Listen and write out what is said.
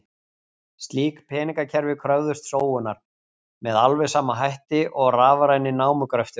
Slík peningakerfi kröfðust sóunar, með alveg sama hætti og rafræni námugröfturinn.